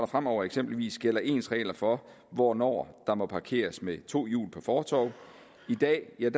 fremover eksempelvis gælder ens regler for hvornår der må parkeres med to hjul på fortov i dag er